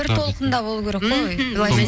бір толқында болу керек қой